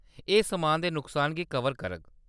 एह्‌‌ समान दे नुकसान गी कवर करग।